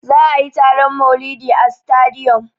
Za'a yi taron maulidi a sitadiyom.